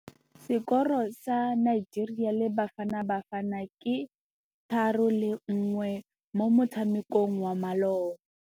Sekôrô sa Nigeria le Bafanabafana ke 3-1 mo motshamekong wa malôba.